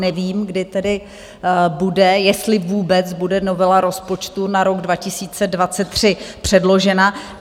Nevím, kdy tedy bude, jestli vůbec bude, novela rozpočtu na rok 2023 předložena.